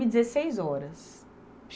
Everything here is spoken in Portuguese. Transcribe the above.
dezesseis horas.